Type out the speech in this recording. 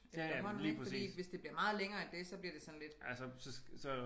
Efterhånden ik fordi hvis det bliver meget længere end det så bliver det sådan lidt